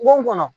Bon kɔnɔ